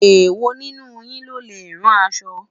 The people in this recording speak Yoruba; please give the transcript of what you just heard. ewọ nínú yín lọlẹ rán aṣọ?